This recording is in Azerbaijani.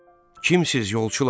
Kimsiz yolçular?